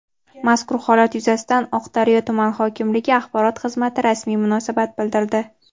Mazkur holat yuzasidan Oqdaryo tuman hokimligi axborot xizmati rasmiy munosabat bildirdi.